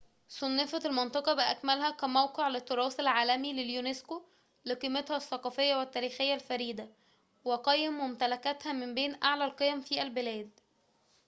صُنفت المنطقة بأكملها كموقع للتراث العالمي لليونسكو لقيمتها الثقافية والتاريخية الفريدة وقيم ممتلكاتها من بين أعلى القيم في البلاد